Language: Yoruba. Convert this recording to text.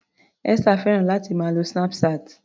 Esther fẹ́ràn láti máa lo Snapchat.